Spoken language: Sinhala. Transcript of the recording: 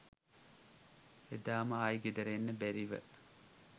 එදාම ආයි ගෙදර එන්න බැරිව